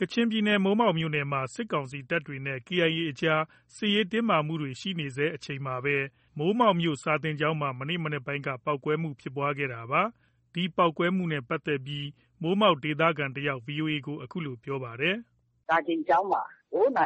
ကချင်ပြည်နယ် မိုးမောက်မြို့နယ်အတွင်းမှာ စစ်ကောင်စီတပ်တွေနဲ့ KIA အကြား စစ်ရေးတင်းမာမှုတွေ ရှိနေဆဲ အချိန်မှာပဲ မိုးမောက်မြို့ စာသင်ကျောင်းမှာ မနေ့ မနက်ပိုင်းက ပေါက်ကွဲမှုဖြစ်ပွားခဲ့တာပါ။ ဒီပေါက်ကွဲမှုနဲ့ပတ်သက်ပြီး မိုးမောက်ဒေသခံတစ်ယောက် VOA ကို အခုလို ပြောပါတယ်။ “စာသင်ကျောင်းမှာ ဗုံး ၂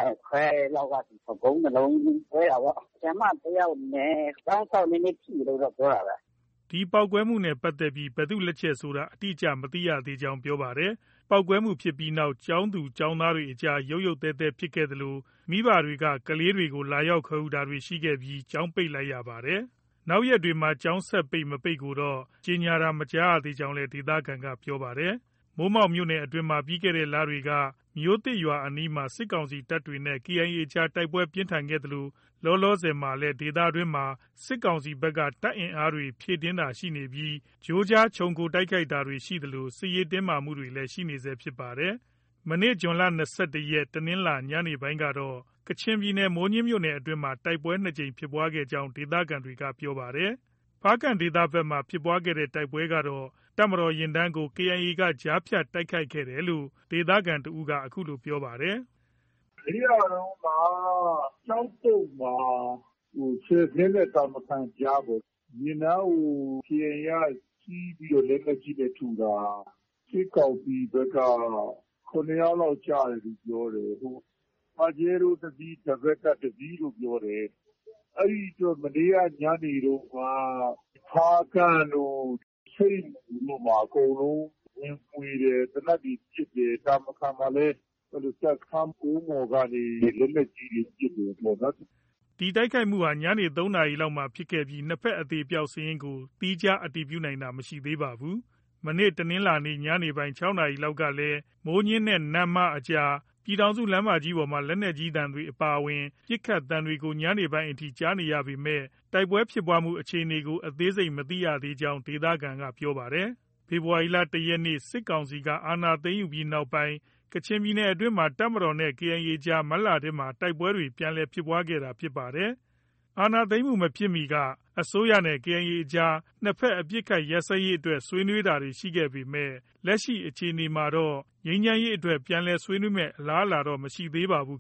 လုံး ကွဲတာပေါ့။ ဆရာမ တစ်ယောက်နဲ့ ကျောင်းစောင့် နည်းနည်း ထိတယ်လို့ တော့ ပြောတာပဲ။” ဒီပေါက်ကွဲမှုနဲ့ ပတ်သက်ပြီး ဘယ်သူလက်ချက်ဖြစ်တယ်ဆိုတာ အတိအကျ မသိသေးကြောင်း ပြောပါတယ်။ ပေါက်ကွဲမှုဖြစ်ပြီးနောက် ကျောင်းသူ၊ ကျောင်းသားတွေအကြားမှာ ရုတ်ရုတ်သဲသဲဖြစ်ခဲ့သလို မိဘတွေက ကလေးတွေကို လာရောက်ခေါ်ယူတာတွေရှိခဲ့ပြီး ကျောင်းပိတ်လိုက်ရပါတယ်။ နောက်ရက်တွေ ကျောင်းဆက်ပိတ်၊ မပိတ်ကိုတော့ ကြေညာတာမကြားသေးကြောင်းလည်း ဒေသခံက ပြောပါတယ်။ မိုးမောက်မြို့နယ်အတွင်းမှာ ပြီးခဲ့တဲ့ လတွေက မြို့သစ်ရွာအနီးမှာ စစ်ကောင်စီတပ်တွေနဲ့ KIA အကြား တိုက်ပွဲပြင်းထန်ခဲ့သလို လောလောဆယ်မှာလည်း ဒေသတွင်းမှာ စစ်ကောင်စီဘက်က တပ်အင်အားတွေ ဖြည့်တင်းတာရှိနေပြီး ကြိုးကြား ခြုံခိုတိုက်ခိုက်တာတွေ ရှိသလို စစ်ရေးတင်းမာမှုတွေ ရှိနေဆဲဖြစ်ပါတယ်။ မနေ့ ဇွန် ၂၁ ရက် တနင်္လာ ညနေပိုင်းကတော့ ကချင်ပြည်နယ် မိုးညှင်းခရိုင်အတွင်းမှာ တိုက်ပွဲ ၂ ကြိမ်ဖြစ်ခဲ့ကြောင်း ဒေသခံတွေက ပြောပါတယ်။ ဖားကန့်ဒေသဘက်မှာ ဖြစ်တဲ့ တိုက်ပွဲကတော့ တပ်မတော်ယာဉ်တန်းကို KIA က ကြားဖြတ်တိုက်ခိုက်ခဲ့တယ်လို့ ဒေသခံ တစ်ဦးက အခုလို ပြောပါတယ်။ “ မနေ့ကတုံးက ကျောက်ပုတ်မှာ၊ ဆယ်ဇဉ်းနဲ့ တာမခန်ကြားပေါ့။ ယာဉ်တန်းကို KIA က ဆီးပြီးတော့ လက်နက်ကြီးနဲ့ ထုတာ။ စစ်ကောင်စီဘက်က ၇ ယောက်လောက် ကျတယ်လို့ ပြောတယ်။ ပါဂျဲရိုးတစ်စီး၊ ဒဘယ်လ်ကပ် တစ်စီးလို့ ပြောတယ်။ အဲဒီအတွက် မနေ့က ညနေတုံးက ဖားကန့်တို့၊ ဆိတ်မူတို့မှာ အကုန်လုံး ဝင်မွှေတယ်။ သေနတ်တွေ ပစ်တယ်။ တာမခန်မှာလည်း တပ်စခန်းကုန်းပေါ်ကနေ လက်နက်ကြီးတွေ ပစ်တယ်ပေါ့နော်။” ဒီတိုက်ခိုက်မှုဟာ ညနေ ၃နာရီလောက်မှာဖြစ်ခဲ့ပြီး နှစ်ဘက် အသေအပျောက်စာရင်းကို သီးခြား အတည်ပြုနိုင်တာ မရှိသေးပါဘူး။ မနေ့တနင်္လာနေ့ ညနေပိုင်း ၆ နာရီလောက်ကလည်း မိုးညှင်းနဲ့ နမ့်မားအကြား ပြည်ထောင်စုလမ်းပေါ်မှာ လက်နက်ကြီးသံတွေအပါအဝင် ပစ်ခတ်သံတွေကို ညပိုင်းအထိ ကြားနေရပေမဲ့ တိုက်ပွဲဖြစ်ပွားမှု အခြေအနေကို အသေးစိတ် မသိကြောင်း ဒေသခံတွေက ပြောပါတယ်။ ဖေဖော်ဝါရီလ ၁ ရက်နေ့ စစ်ကောင်စီက အာဏာသိမ်းယူပြီးနောက်ပိုင်း ကချင်ပြည်နယ်အတွင်းမှာ တပ်မတော်နဲ့ KIA အကြား မတ်လထဲက တိုက်ပွဲတွေ ပြန်လည်ဖြစ်ပွားခဲ့တာဖြစ်ပါတယ်။ အာဏာသိမ်းမှုမဖြစ်မီက အစိုးရနဲ့ KIA အကြား နှစ်ဘက် အပစ်အခတ် ရပ်စဲရေးအတွက် ဆွေးနွေးတာတွေ ရှိခဲ့ပေမဲ့ လက်ရှိအခြေအနေမှာတော့ ငြိမ်းချမ်းရေးအတွက် ပြန်လည် ဆွေးနွေးမယ့် အလားအလာတော့ မရှိသေးပါဘူး